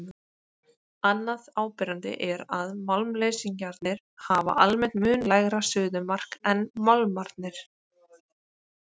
Annað áberandi er að málmleysingjarnir hafa almennt mun lægra suðumark en málmarnir.